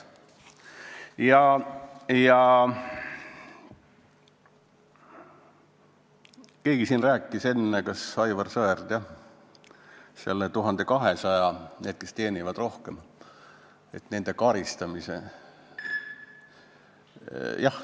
Keegi siin rääkis enne, vist Aivar Sõerd, jah, nende karistamisest, kes teenivad üle 1200 euro.